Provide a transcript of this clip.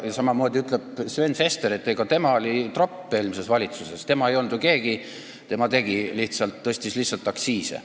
Samamoodi ütleb Sven Sester, et tema oli eelmises valitsuses tropp, tema ei olnud keegi, tema lihtsalt tõstis aktsiise.